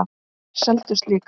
Þær seldust líka.